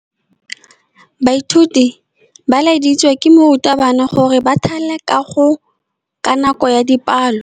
Baithuti ba laeditswe ke morutabana gore ba thale kagô ka nako ya dipalô.